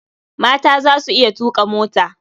Mata za su iya tuƙa mota.